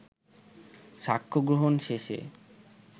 সাক্ষ্যগ্রহণ শেষে